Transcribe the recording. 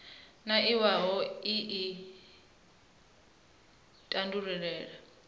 na iwalo ii i tandulula